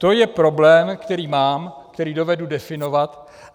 To je problém, který mám, který dovedu definovat.